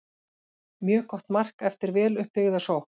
Mjög gott mark eftir vel upp byggða sókn.